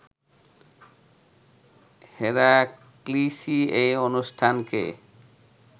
হেরাক্লিসই এই অনুষ্ঠানকে